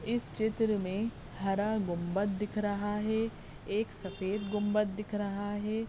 इस चित्र मे हरा गुम्बत दिख रहा है एक सफेद गुम्बत दिख रहा है।